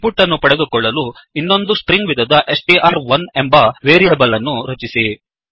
ಇನ್ ಪುಟ್ ಅನ್ನು ಪಡೆದುಕೊಳ್ಳಲು ಇನ್ನೊಂದು ಸ್ಟ್ರಿಂಗ್ ವಿಧದ ಸ್ಟ್ರ್1 ಎಂಬ ವೇರಿಯೇಬಲ್ ಅನ್ನು ರಚಿಸಿ